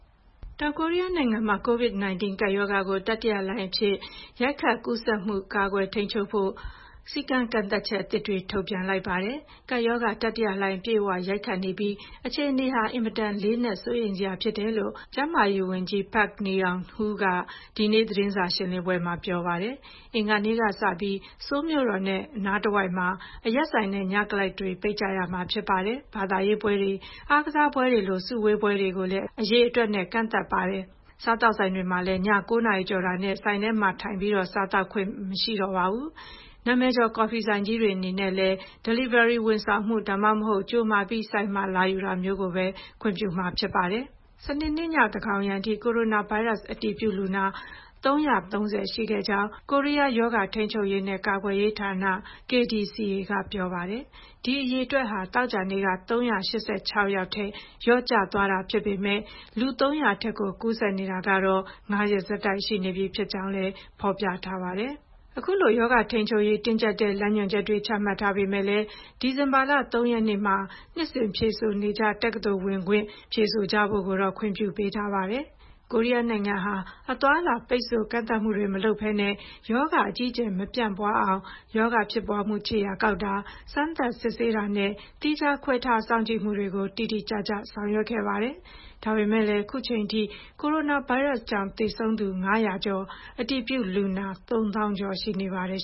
တောင်ကိုရီးယားနိုင်ငံမှာ COVID-19 ကပ်ရောဂါ တတိယလှိုင်းအဖြစ် ရိုက်ခတ်ကူးစက်မှုကို ကာကွယ်ထိန်းချုပ်ဖို့ စည်းကမ်းသတ်မှတ်ချက်သစ်တွေ ထုတ်ပြန်လိုက်ပါတယ်။ ကပ်ရောဂါ တတိယလှိုင်း အပြည့်အဝ ရိုက်ခတ်နေပြီး အခြေအနေဟာ အင်မတန် လေးနက် စိုးရိမ်စရာဖြစ်တယ်လို့ ကျန်းမာရေးဝန်ကြီး Park Neung-hoo က ဒီနေ့ သတင်းစာရှင်းလင်းပွဲမှာ ပြောကြားပါတယ်။ အင်္ဂါနေ့ကစပြီး ဆိုးလ်မြို့တော်နဲ့ မြို့တော်နားတဝိုက်မှာ အရက်ဆိုင်နဲ့ ညကလပ်တွေ ပိတ်ကြရမှာဖြစ်ပါတယ်။ ဘာသာရေးပွဲတွေ၊ အားကစားပွဲတွေလို လူစုဝေးတဲ့ ပွဲတွေကိုလည်း အရေအတွက် ကန့်သတ်လိုက်ပါတယ်။ စားသောက်ဆိုင်တွေမှာလည်း ည ၉ နာရီကျော်တာနဲ့ ဆိုင်ထဲမှာထိုင်ပြီး စားသောက်ခွင့်ပြုလို့ မရတော့သလို နာမည်ကျော် ကော်ဖီဆိုင်ကြီးတွေ အနေနဲ့လည်း Delivery ဝန်ဆောင်မှု၊ ဒါမှမဟုတ် ကြိုမှာပြီး ဆိုင်မှာလာယူတာမျိုးပဲ ခွင့်ပြုမှာဖြစ်ပါတယ်။ စနေနေ့ည သန်းခေါင်ယံအထိ ကိုရိုနာဗိုင်းရပ်စ် အတည်ပြုလူနာ ၃၃၀ ရှိခဲ့ကြောင်း ကိုရီးယား ရောဂါထိန်းချုပ်ရေးနဲ့ ကာကွယ်ရေးဌာန (KDCA) က ပြောပါတယ်။ ဒီအရေအတွက်ဟာ သောကြာနေ့က ၃၈၆ ယောက်ထက် လျော့ကျသွားတာဖြစ်ပေမယ့် လူ ၃၀၀ အထက်ကို ကူးစက်နေတာကတော့ ၅ ရက်ဆက်တိုက် ရှိနေပြီဖြစ်ကြောင်းလည်း ဖော်ပြထားပါတယ်။ အခုလို ရောဂါထိန်းချုပ်ရေး တင်းကျပ်တဲ့ လမ်းညွှန်ချက်တွေ ချမှတ်ထားပေမယ့်လည်း ဒီဇင်ဘာလ ၃ ရက်မှာ နှစ်စဉ်ဖြေဆိုနေကျ တက္ကသိုလ်ဝင်ခွင့် ဖြေဆိုကြဖို့ကိုတော့ ခွင့်ပြုပေးထားပါတယ်။ တောင်ကိုရီးယားနိုင်ငံဟာ အသွားအလာ ပိတ်ဆို့ကန့်သတ်မှုတွေ မလုပ်ဘဲနဲ့ ရောဂါအကြီးအကျယ် မပြန့်ပွားအောင် ရောဂါဖြစ်ပွားမှု ခြေရာကောက်တာ၊ စမ်းသပ်စစ်ဆေးတာနဲ့ သီးခြားခွဲထား စောင့်ကြည့်မှုတွေကို တိတိကျကျ ဆောင်ရွက်ခဲ့ပါတယ်။ ဒါပေမယ့်လည်း အခုချိန်ထိ ကိုရိုနာဗိုင်းရပ်စ်ကြောင့် သေဆုံးသူ ၅၀၀ ကျော်၊ အတည်ပြုလူနာ ၃၀,၀၀၀ ကျော် ရှိပါတယ်